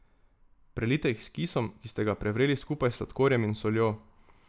Prelijte jih s kisom, ki ste ga prevreli skupaj s sladkorjem in soljo.